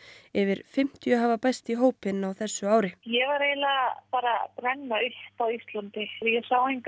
yfir fimmtíu hafa bæst í hópinn á þessu ári ég var eiginlega bara að brenna upp á Íslandi ég sá enga